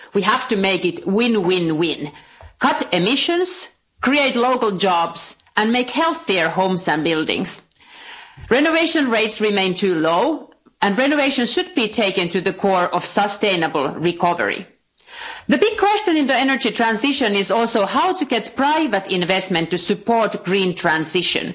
We have to make it win win win cut emissions, create local jobs, and make healthier homes and buildings. Renovation rates remain too low and renovations should be placed at the core of a sustainable recovery. Another big question for the energy transition is how to get private investment to support the green transition.